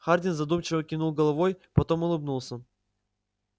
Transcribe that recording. хардин задумчиво кивнул головой потом улыбнулся